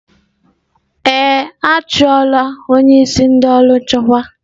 Ee, a chụọ la onye isi ndị ọrụ nchekwa.